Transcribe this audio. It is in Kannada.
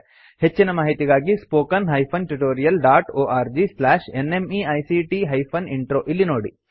ಹೆಚ್ಚಿನ ಮಾಹಿತಿಗಾಗಿ spoken hyphen tutorial dot org slash NMEICT hyphen intro ಇಲ್ಲಿ ನೋಡಿ